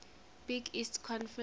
big east conference